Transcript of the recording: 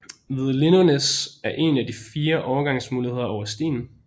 Ved Lindånæs er en af de fire overgangsmuligheder over Slien